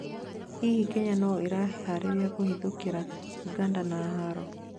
hihi, Kenya no irĩharĩrĩria kũhithũkira uganda na haaro?